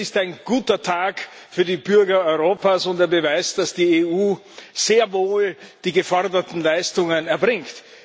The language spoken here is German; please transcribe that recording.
Es ist ein guter Tag für die Bürger Europas und der Beweis, dass die EU sehr wohl die geforderten Leistungen erbringt.